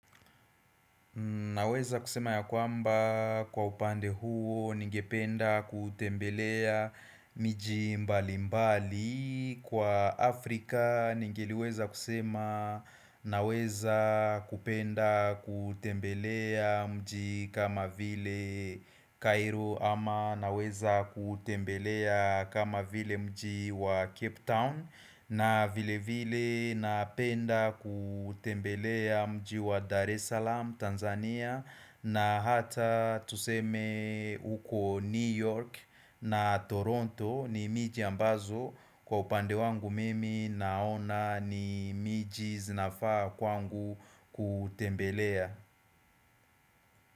Naweza kusema ya kwamba kwa upande huo ningependa kutembelea miji mbali mbali Kwa Afrika ningeliweza kusema naweza kupenda kutembelea mji kama vile Cairo ama Naweza kutembelea kama vile mji wa Cape Town na vile vile napenda kutembelea mji wa Dar es Salaam Tanzania na hata tuseme huko New York na Toronto ni miji ambazo Kwa upande wangu mimi naona ni miji zinafaa kwangu kutembelea.